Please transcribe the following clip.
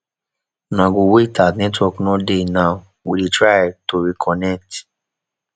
una go wait as network no dey now we dey try to reconnect